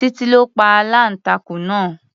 Titi ló pa aláǹtakùn náà.